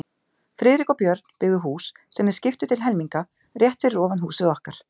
Friðrik og Björn, byggðu hús, sem þeir skiptu til helminga, rétt fyrir ofan húsið okkar.